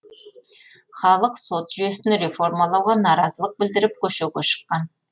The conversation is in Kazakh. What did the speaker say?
халық сот жүйесін реформалауға наразылық білдіріп көшуге шыққан